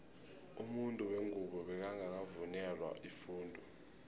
umuntu wengubo bekangaka vungelwa ifundo